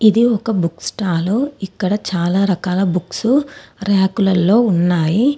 ఇది ఒక book stall . ఇక్కడ చాలా రకాల బుక్స్ ర్యాకులల్లో ఉన్నాయి.